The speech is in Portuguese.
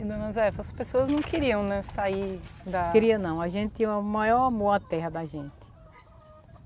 E dona Zé, as pessoas não queriam né sair da... Queria não, a gente tinha o maior amor à terra da gente.